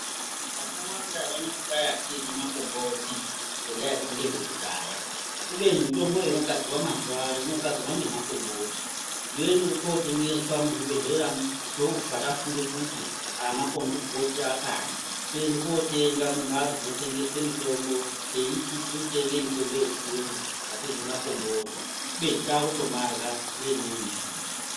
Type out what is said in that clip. Vantu vakawanda vanoti kwai atiryi makomboti ngendaa yekuti ngezvekudhaya kubeni mitomboyo inogadzirwa mazuwano inogadzirwa ngemakomboti yoende kuchiotengeswa muzvibhedhlera yobva tafunga kuti aamakomboti aakadi toende kotenga mumbatso dzinotengeswe mitombo teiti tirikutenge mitombo yechiyungu atiryi makomboti kubeni takutomarya neimweni njira.